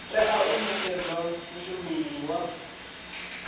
tea u nekedzwa mushumeli wa